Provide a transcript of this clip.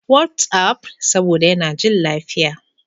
WhatsApp, saboda yana jin lafiya.